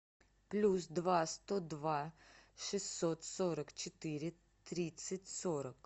плюс два сто два шестьсот сорок четыре тридцать сорок